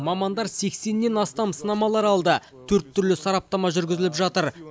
мамандар сексеннен астам сынамалар алды төрт түрлі сараптама жүргізіліп жатыр